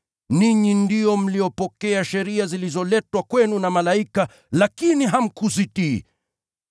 Ninyi ndio mlipokea sheria zilizoletwa kwenu na malaika, lakini hamkuzitii.”